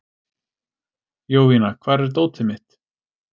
Jovina, hvar er dótið mitt?